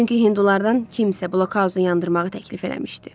Çünki hindulardan kimsə blokhauzu yandırmağı təklif eləmişdi.